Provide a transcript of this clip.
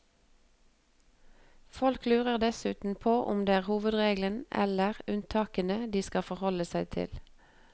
Folk lurer dessuten på om det er hovedreglene eller unntakene de skal forholde seg til.